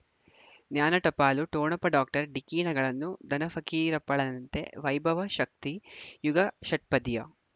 ಜ್ಞಾನ ಟಪಾಲು ಠೊಣಪ ಡಾಕ್ಟರ್ ಢಿಕ್ಕಿ ಣಗಳನು ಧನ ಫಕೀರಪ್ಪ ಳಂತೆ ವೈಭವ್ ಶಕ್ತಿ ಝಗಾ ಷಟ್ಪದಿಯ